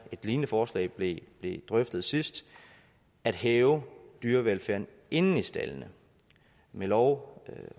et lignende forslag blev drøftet sidst at hæve dyrevelfærden inde i staldene med lov